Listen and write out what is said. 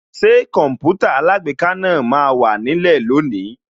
Ṣé Kọǹpútà alágbèéká náà máa wà nílẹ̀ lónìí